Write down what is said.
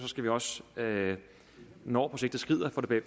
skal vi også når projektet skrider få det